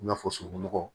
I n'a fɔ sunugun nɔgɔ